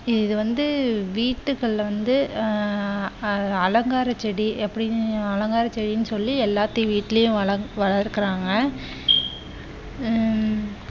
இது வந்து வீட்டுகள்ல வந்த அஹ் அலங்கார செடி அப்படின்னு அலங்கார செடின்னு சொல்லி எல்லார் வீட்டிலும் வளக்குறாங்க ஹம்